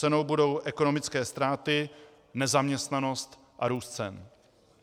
Cenou budou ekonomické ztráty, nezaměstnanost a růst cen.